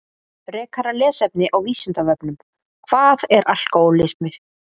Frekara lesefni á Vísindavefnum Hvað er alkóhólismi?